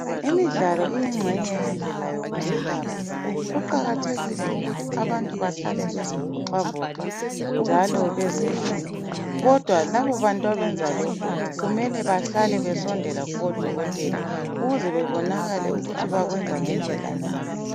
imidalo iyinxenye yokuzama ukuzelapha kuqakathekile ukuthi abantu bahlale bezivoxavoxa njalo bezelula kodwa laba bantu abenza lokhu kumele bahlale besondela kubo dokotela ukuze babonakale ukuthi bakwenza ngendlela na